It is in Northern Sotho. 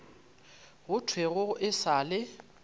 go thwego e sa le